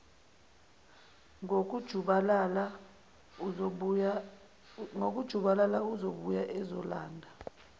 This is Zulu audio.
ngokujubalala uzobuya ezolanda